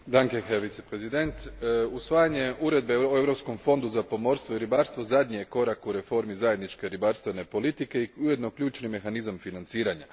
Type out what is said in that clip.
Gospodine predsjedniče, usvajanje Uredbe o Europskom fondu za pomorstvo i ribarstvo zadnji je korak u reformi zajedničke ribarstvene politike i ujedno ključni mehanizam financiranja.